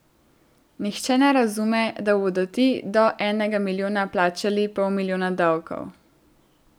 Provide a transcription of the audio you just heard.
Nihče ne razume, da bodo ti do enega milijona plačali pol milijona davkov.